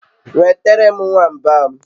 Nwetere m nwamba m